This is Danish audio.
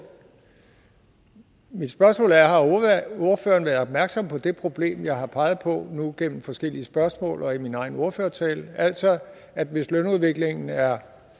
mit spørgsmål er har ordføreren været opmærksom på det problem jeg nu har peget på gennem forskellige spørgsmål og i min egen ordførertale altså at hvis lønudviklingen er